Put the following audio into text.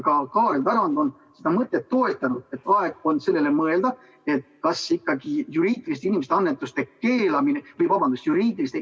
Ka Kaarel Tarand on seda mõtet toetanud, et aeg on sellele mõelda, kas juriidiliste isikute annetuse keelamine on mõistlik.